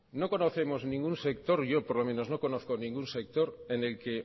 no conocemos ningún sector yo por lo menos no conozco ningún sector en el que